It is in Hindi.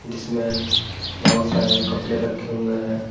जिसमें बहुत सारे कपड़े रखे हुए हैं।